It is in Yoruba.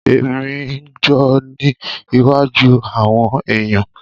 Emi n jo ni iwájú àwọn èyàn.